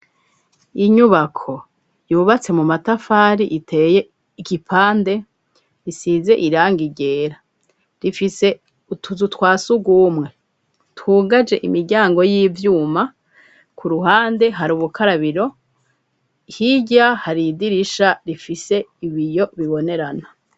Inyubako yubatse mu matafari iteye igipande risize iranga igera rifise utuzu twa sugumwe tugaje imiryango y'ivyuma ku ruhande hari ubukarabiro hirya haridirisha rifise ibiyo biboneo ana.